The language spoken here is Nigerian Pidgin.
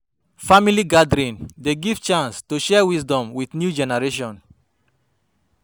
Family gathering dey give chance to share wisdom with new generation.